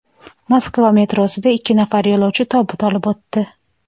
Moskva metrosida ikki nafar yo‘lovchi tobut olib o‘tdi.